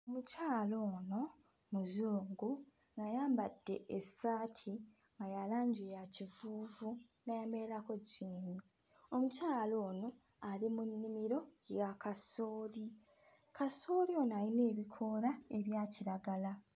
Mukyala ono muzungu ng'ayambadde essaati nga ya langi ya kifuufu n'ayambalirako jjiini, omukyala ono ali mu nnimiro ya kasooli, kasooli ono ayina ebikoola ebya kiragala.